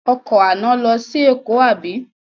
Ọkọ̀ àná lọ sí Èkó àbí?